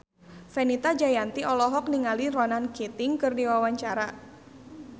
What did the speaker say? Fenita Jayanti olohok ningali Ronan Keating keur diwawancara